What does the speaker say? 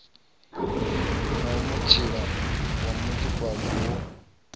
na mutshila wa ṱhukhufhadzo wo